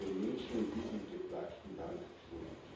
Das sind wir den Menschen in diesem geplagten Land schuldig.